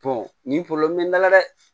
nin bɛ n dala dɛ